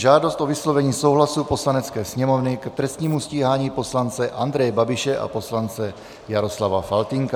Žádost o vyslovení souhlasu Poslanecké sněmovny k trestnímu stíhání poslance Andreje Babiše a poslance Jaroslava Faltýnka